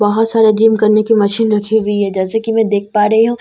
बहुत सारा जिम करने की मशीन रखी हुई है जैसे की मैं देख पा रही हूँ इस मशीन --